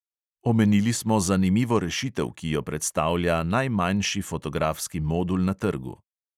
Omenili smo zanimivo rešitev, ki jo predstavlja najmanjši fotografski modul na trgu.